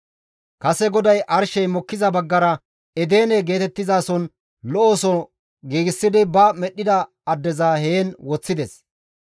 Kase GODAY arshey mokkiza baggara Edene geetettizason lo7oso giigsidi ba medhdhida addeza heen woththides.